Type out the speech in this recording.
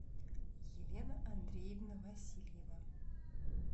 елена андреевна васильева